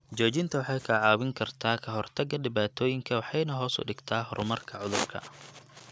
Joojinta waxay kaa caawin kartaa ka hortagga dhibaatooyinka waxayna hoos u dhigtaa horumarka cudurka.